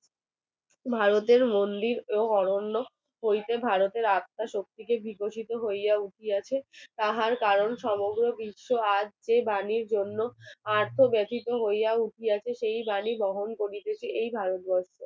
শক্তিকে বিকশিত হইয়া উঠিতেছে তাহার কারণ সমগ্র বিশ্ব আজ সেই প্রাণীর জন্য আর্থ ব্যতীত হইয়াছে সেই বাণী গ্রহণ করিতেছে। এই ভারত বর্ষ